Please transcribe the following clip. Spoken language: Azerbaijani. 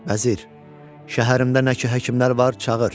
Vəzir, şəhərimdə nə ki həkimlər var, çağır.